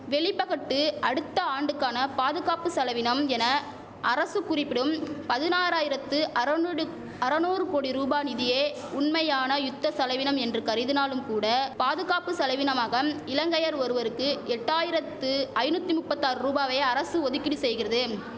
வெளிபகட்டு அடுத்த ஆண்டுக்கான பாதுகாப்பு செலவினம் என அரசு குறிப்பிடும் பதினாராயிரத்து அரநுடு அரநூறு கோடி ரூபா நிதியே உண்மையான யுத்த செலவினம் என்று கருதினாலும் கூட பாதுகாப்பு செலவினமாகம் இலங்கையர் ஒருவருக்கு எட்டாயிரத்து ஐநுத்தி நுப்பத்தி ஆறு ரூபாவை அரசு ஒதுக்கீடு செய்கிறதும்